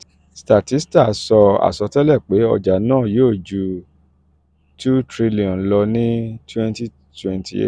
statista sọ àsọtẹ́lẹ̀ pé ọjà náà yóò ju two trillion lọ ní twenty twenty eight